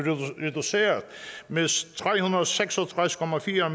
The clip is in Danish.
reduceret med tre hundrede og seks og tres